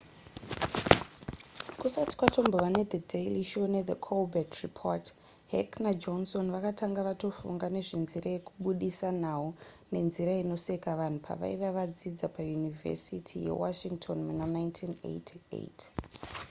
kusati kwatombova nethe daily show nethe colbert report heck najohnson vakanga vatofunga nezvenzira yekubudisa nhau nenzira inosetsa vanhu pavaiva vadzidzi payunivhesity yewashington muna 1988